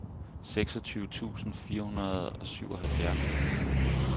seksogtyve tusind fire hundrede og syvoghalvfjerds